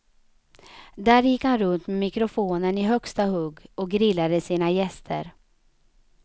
Där gick han runt med mikrofonen i högsta hugg och grillade sina gäster.